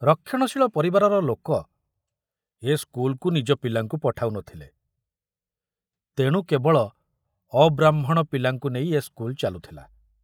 ରକ୍ଷଣଶୀଳ ପରିବାରର ଲୋକ ଏ ସ୍କୁଲକୁ ନିଜ ପିଲାଙ୍କୁ ପଠାଉ ନଥିଲେ, ତେଣୁ କେବଳ ଅବ୍ରାହ୍ମଣ ପିଲାଙ୍କୁ ନେଇ ଏ ସ୍କୁଲ ଚାଲୁଥିଲା।